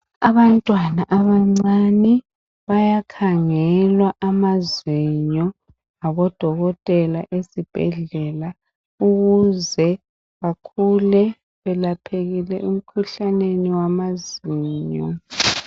Abantwana abancane bayakhangelwa amazinyo ngabodokotela ezibhedlela ukuze bakhule belaphekile emkhuhlaneni wamazinyo.